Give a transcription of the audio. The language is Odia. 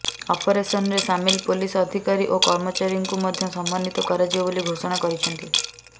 ଅପରେସନରେ ସାମିଲ ପୋଲିସ ଅଧିକାରୀ ଓ କର୍ମଚାରୀଙ୍କୁ ମଧ୍ୟ ସମ୍ମନୀତ କରାଯିବ ବୋଲି ଘୋଷଣା କରିଛନ୍ତି